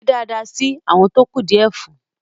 ṣe dáadáa sí “ awọn tó kù díẹ̀ fún ”!